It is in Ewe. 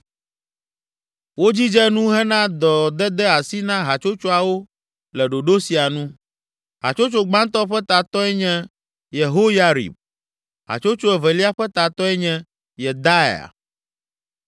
Wodzidze nu hena dɔdede asi na hatsotsoawo le ɖoɖo sia nu: Hatsotso gbãtɔ ƒe tatɔe nye Yehoyarib. Hatsotso evelia ƒe tatɔe nye Yedaia.